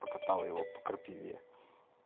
покатал его по крапиве